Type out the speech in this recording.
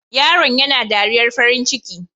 Yaron yana dariyar farin ciki.